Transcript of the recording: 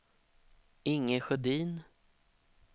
Inge Sjödin